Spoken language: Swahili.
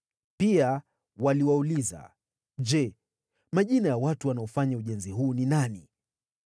Pia waliwauliza, “Je, majina ya watu wanaofanya ujenzi huu ni nani?”